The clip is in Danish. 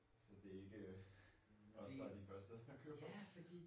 Så det ikke øh os der er de første der køber dem